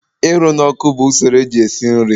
Ịrụ n'ọkụ bụ usoro eji esi nri.